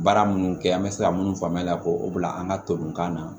Baara minnu kɛ an bɛ se ka mun faamuya k'o bila an ka to kan na